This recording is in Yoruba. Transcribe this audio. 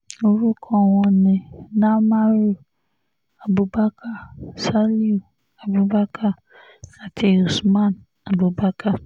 orúkọ wọn ni namaru abubakar saliu abubakar àti usman abubakar